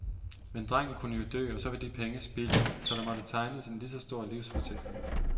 Men drengen kunne jo dø og så var de penge spildt, så der måtte tegnes en lige så stor livsforsikring.